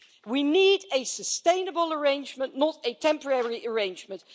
We need a sustainable arrangement, not a temporary arrangement.